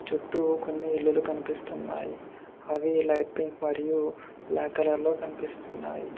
చుట్టూ కొన్ని ఇల్లులు కనిపిస్తున్నాయి అవి లైట్ పింక్ మరియు బ్లాక్ కలర్ లో కనిపిస్తున్నాయి.